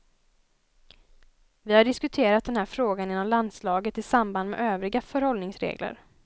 Vi har diskuterat den här frågan inom landslaget i samband med övriga förhållningsregler.